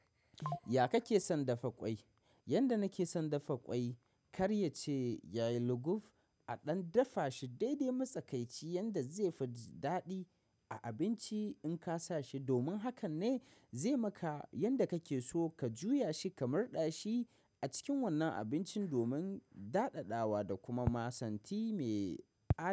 Ya kake son dafa ƙwai? Yanda nake son dafa ƙwai karya ce yayi luguf a ɗan dafa shi daidai matsakaici yanda zai fi jidaɗi a abinci in kasa shi. Domin hakan ne zai maka yanda kake so ka juya shi kamar ɗashi a cikin wannan abincin domin daɗaɗawa da kuma masanti mai aji.